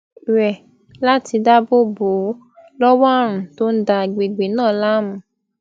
re lati daabo bo o lowo àrùn tó n da agbègbè náà láàmú